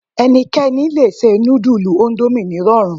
Ẹnikẹ́ni lè se nudulu Ondomie nírọ̀rùn